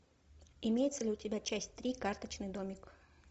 имеется ли у тебя часть три карточный домик